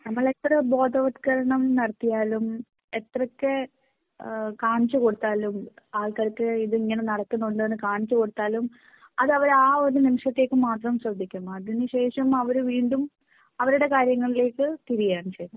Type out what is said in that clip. നമ്മൾ എത്ര ബോധവൽക്കരണം നടത്തിയാലും എത്രയൊക്കെ? കാണിച്ചു കൊടുത്താലും ആൾക്കാർക്ക് ഇത് ഇങ്ങനെ നടക്കുന്നുണ്ടെന്ന് കാണിച്ച് കൊടുത്താലും അത് അവർ ആ ഒരു നിമിഷത്തേക്ക് മാത്രംശ്രദ്ധിക്കും . അതിനു ശേഷം അവർ വീണ്ടും അവരുടെ കാര്യങ്ങളിലേക്ക് തിരിയാണ് ച്ചെയുന്നെ